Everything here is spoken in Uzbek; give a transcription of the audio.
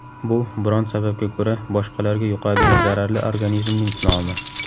Bu biron sababga ko‘ra boshqalarga yuqadigan zararli organizmning nomi.